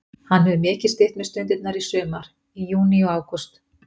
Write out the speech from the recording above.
Hann hefur mikið stytt mér stundirnar í sumar, í júní og ágúst.